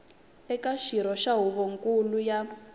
eka xirho xa huvonkulu ya